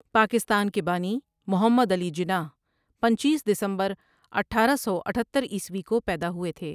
پاکستان کےبانی ٴٴٴمحمد علی جناح پنچیس دسمبر اٹھارہ سو اتھتر عیسوی کو پیدا ہوئے تھے۔